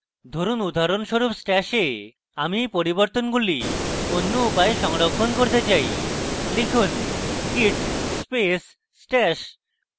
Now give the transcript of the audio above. ধরুন উদাহরণস্বরূপ stash এ আমি এই পরিবর্তনগুলি অন্য উপায়ে সংরক্ষণ করতে say লিখুন: git space stash